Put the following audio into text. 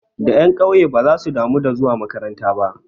Da ƴan ƙauye basu damu da zuwa makaranta ba.